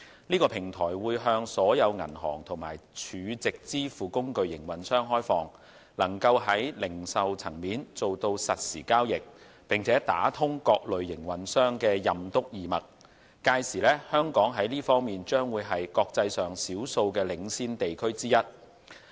這個平台會向所有銀行和儲值支付工具營運商開放，能夠在零售層面做到實時交易並打通各類營運商的"任督二脈"，屆時香港在這方面將是國際上少數的領先地區之一。